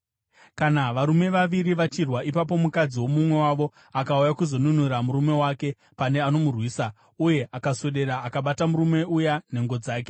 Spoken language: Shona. Kana varume vaviri vachirwa ipapo mukadzi womumwe wavo akauya kuzonunura murume wake pane anomurwisa, uye akaswedera akabata murume uya nhengo dzake,